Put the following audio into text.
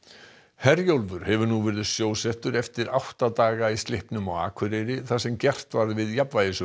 Herjólfur hefur nú verið sjósettur eftir átta daga í slippnum á Akureyri þar sem gert var við